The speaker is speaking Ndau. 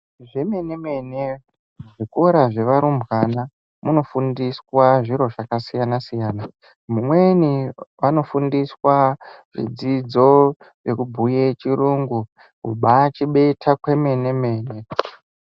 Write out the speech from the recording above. Zvemene mene zvikora zvevarumbwana munofundisa zviro zvakasiyana siyana mumweni anofundiswa zvidzidzo nekubhuya chirungu kubaa chibeta kwemene mene.